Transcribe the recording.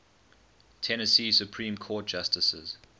tennessee supreme court justices